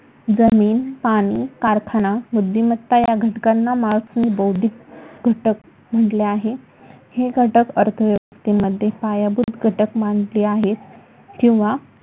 जमीन पाणी कारखाना बुद्धिमत्ता या घटकांना मार्क्सने बौद्धिक घटक म्हटले आहे. हे घटक अर्थव्यवस्थेमध्ये पायाभूत घटक मानले आहे किंवा